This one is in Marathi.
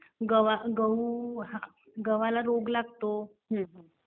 गहू गव्हाला रोग लागतो.